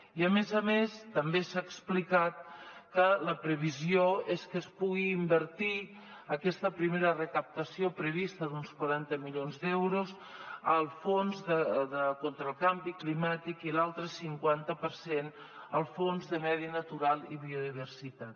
i a més a més també s’ha explicat que la previsió és que es pugui invertir aquesta primera recaptació prevista d’uns quaranta milions d’euros al fons contra el canvi climàtic i l’altre cinquanta per cent al fons de medi natural i biodiversitat